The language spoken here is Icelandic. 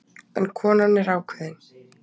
En konan er ákveðin.